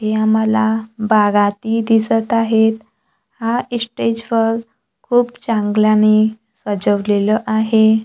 या मला बागाती दिसत आहेत हा स्टेजवर खूप चांगल्याने सजवलेलं आहे.